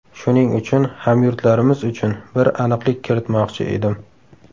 Shuning uchun hamyurtlarimiz uchun bir aniqlik kiritmoqchi edim.